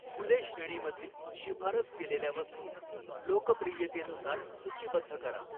फुले श्रेणीमधील शिफारस केलेल्या वस्तू लोकप्रियतेनुसार सूचीबद्ध करा.